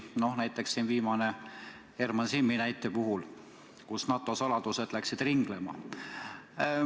Näiteks, viimane on Herman Simmi juhtum, kus NATO saladused läksid ringlema.